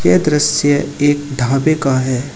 यह दृश्य एक ढाबे का है।